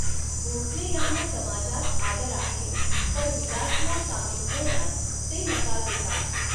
भोसले यांना समाजात आदर आहे, पण विलासला सामील होण्यास ते नकार देतात.